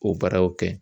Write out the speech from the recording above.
O baaraw kɛ